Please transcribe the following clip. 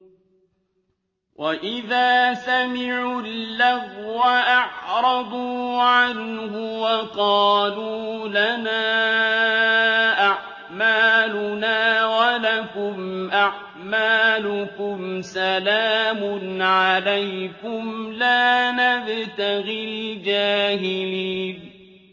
وَإِذَا سَمِعُوا اللَّغْوَ أَعْرَضُوا عَنْهُ وَقَالُوا لَنَا أَعْمَالُنَا وَلَكُمْ أَعْمَالُكُمْ سَلَامٌ عَلَيْكُمْ لَا نَبْتَغِي الْجَاهِلِينَ